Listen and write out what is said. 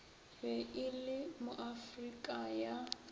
be e le moafrika ka